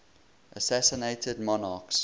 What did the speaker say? assassinated monarchs